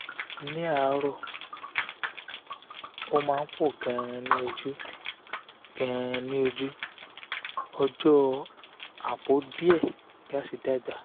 ni aro o ma po gan ni oju gan ni oju ojo apo die gas dagba